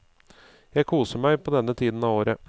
Jeg koser meg på denne tiden av året.